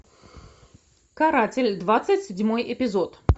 каратель двадцать седьмой эпизод